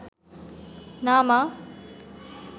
না মা